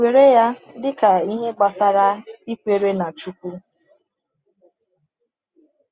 Were ya dị ka ihe gbasara ikwere n’Chukwu.